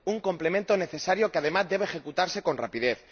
Un complemento necesario, que, además, debe ejecutarse con rapidez.